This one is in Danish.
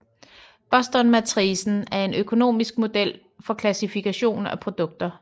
Bostonmatricen er en økonomisk model for klassifikation af produkter